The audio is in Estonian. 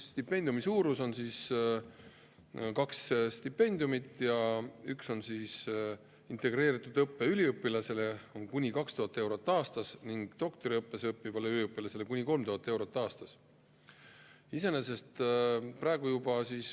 On kaks stipendiumi: üks on integreeritud õppe üliõpilasele, kuni 2000 eurot aastas, ning doktoriõppes õppivale üliõpilasele kuni 3000 eurot aastas.